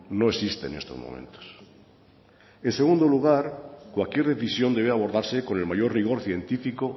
no existe en estos momentos en segundo lugar cualquier decisión debe abordarse con el mayor rigor científico